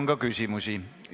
Teile on küsimusi.